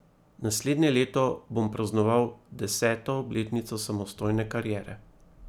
Naslednje leto bom praznoval deseto obletnico samostojne kariere.